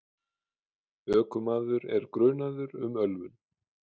Ökumaður er grunaður um ölvun.